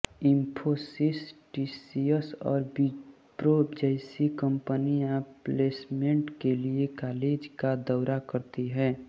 Infosys TCS और Wipro जैसी कंपनियां प्लेसमेंट के लिए कॉलेज का दौरा करती हैं